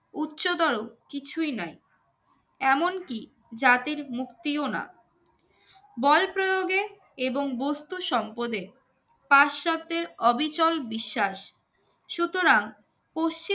উচ্চতর কিছুই নোই এমনকি জাতির মুক্তিও না বলপ্রয়োগে এবং বস্তুসম্পদে পাশ্চাত্যে অবিকল বিশ্বাস সুতরাং পশ্চিম